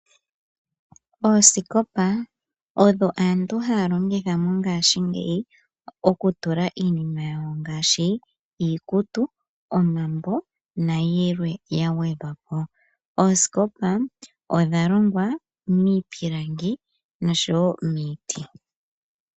Oosikopa odho aantu haya longitha mongaashingeyi okutula iinima yawo ngaashi iikutu, omambo nayilww yagwedhwapo. Oosikopa odha longwa miipilangi nosho woo miiti.